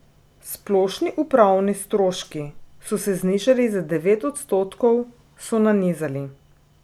Splošni upravni stroški so se znižali za devet odstotkov, so nanizali.